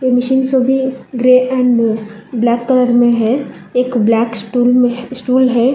ये मशीन सभी grey and black colour में है एक ब्लैक स्टूल में स्टूल है।